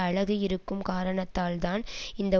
அழகு இருக்கும் காரணத்தால் தான் இந்த